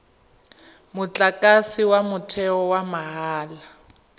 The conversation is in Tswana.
motlakase wa motheo wa mahala